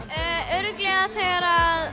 örugglega þegar